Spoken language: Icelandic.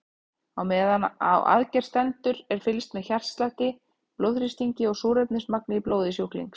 Á meðan á aðgerð stendur er fylgst með hjartslætti, blóðþrýstingi og súrefnismagni í blóði sjúklings.